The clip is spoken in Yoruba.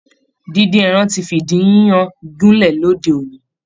Díndín ẹran ti fìdí yíyan gúnlẹ̀ lóde òní